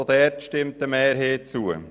Auch dieser stimmt eine Mehrheit zu.